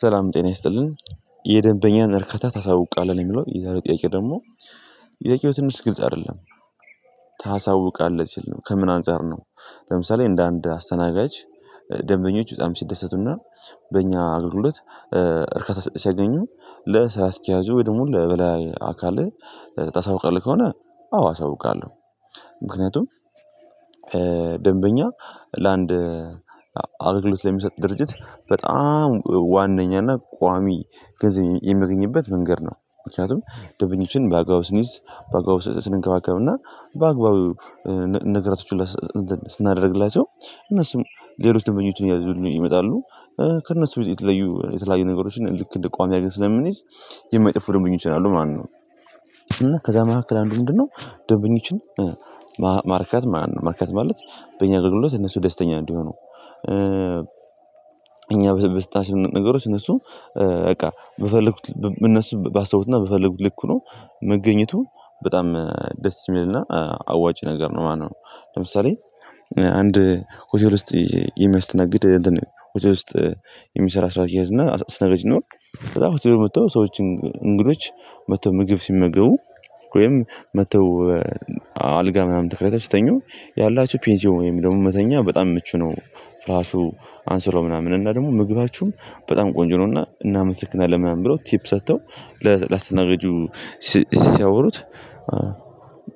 ሰላም ጤና ይስጥልን። የደንበኛን እርካታ ታሳውቃለህ ለሚለው የዛሬው ጥያቄ ደግሞ? ጥያቄው ትንሽ ግልጽ አይደለም። ታሳውቃለህ ሲል ነው ከምን አንፃር ነው? ለምሳሌ እንደ አንድ አስተናጋጅ። ደንበኞች በጣም ሲደሰቱና በእኛ አገልግሎት። እርካታ ሲያገኙ ለስራ አስኪያጁ ወደ ሙሉ ለበላይ አካልህ ታሳውቃለህ ከሆነ አዎ አሳውቃለሁ። ምክንያቱም ለአንድ አገልግሎት ለሚሰጥ ድርጅት በጣም ዋናኛና ቋሚ ገንዘብ የሚገኝበት መንገድ ነው። ምክንያቱም ደበኞችን በአግባቡ ስንይዝ በአግባቡ ስንገባገብና በአግባቡ ነገራቶች ሁላ ስናደርግላቸው እነሱም ሌሎች ድንበኞችን እያደዙልን ይመጣሉ። ከእነሱ የተለዩ የተለያዩ ነገሮችን ልክ እንደ ቋሚ አድርጌ ስለምንይዝ የማይጠፉ ደንበኞች አሉ ማለት ነው። እና ከዛ መካከል አንዱ ምንድነው? ደንበኞችን ማርካት ማለት በእኛ ደግሞ እነሱ ደስተኛ እንዲሆኑ እኛ በሰጠናቸው ነገሮች እነሱ በቃ እነሱ ባሰቡት በፈለጉት ልክ ሆኖ መገኘቱ በጣም ደስ የሚልና አዋጭ ነገር ነው። ማነው? ለምሳሌ አንድ ሆቴል ውስጥ የሚያስተናግድ እንትን ሆቴል ውስጥ። የሚሰራ ስራ አስኪያጅ እና አስተናጋጅም ይሁን። በጣም ሆቴል መጥተው ሰዎችን እንግዶች መጥተው ምግብ ሲመገቡ። ወይም መጥተው አልጋ ምናምን ተከራይተው ሲተኙ። ያላቸሁ ፔንሲዮ ወይም ደግሞ መተኛ በጣም ምቹ ነው። ፍራሹ አንሶላው ምናምን እና ደግሞ ምግባችሁም በጣም ቆንጆ ነው። እና እናመሰግናለን ምናምን ብለው ቲፕ ሰጥተው። ለአስተናገጁ ሲያወሩት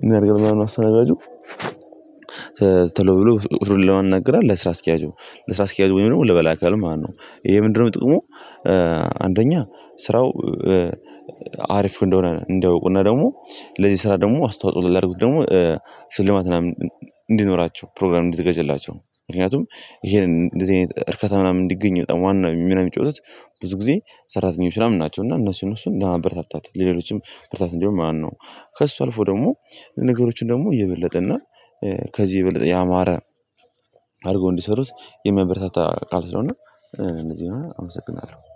እናድርገው ምናምን አስተናጋጁ። ተሎ ብሎ ሂዶ ለማን ይናገራል? ለስራ አስኪያጁ ለስራ አስኪያጁ ወይም ደግሞ ለበላይ አካል ማለት ነው። ይሄ ምንድነው? ጥቅሙ? አንደኛ ስራው አሪፍ እንደሆነ እንዲያውቁና ደግሞ ለዚህ ስራ ደግሞ አስተዋጽኦ ላድርጉት ደግሞ። ስልማት ምናምን እንዲኖራቸው ፕሮግራም እንዲዘጋጅላቸው ምክንያቱም ይሄን እንደዚህ አይነት እርካታ ምናምን እንዲገኝ በጣም ዋና ምናምን የሚጫወቱት ብዙ ጊዜ ሰራተኞች ምናምን ናቸው። እና እነሱን ለማበረታታት ለሌሎችም ብርታት እንዲሆን ማለት ነው። ከእሱ አልፎ ደግሞ ነገሮችን ደግሞ የበለጠ እና ከዚህ የበለጠ ያማረ አድርጎ እንዲሰሩት የሚያበረታታ ቃል ስለሆነ። እንደዚህ አመሰግናለሁ